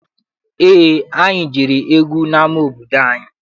Eé, anyị jere egwu n'ama obodo anyị.